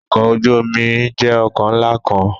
Ọkọ oju omi jẹ ọkọ nla kan